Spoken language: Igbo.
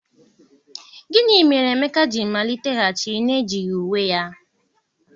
gini mere Emeka ji maliteghachi n'ejighi uwe ya?